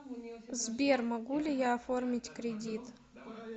сбер могу ли я оформить кредит